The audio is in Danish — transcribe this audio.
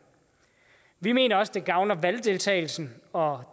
vi mener også at det gavner valgdeltagelsen og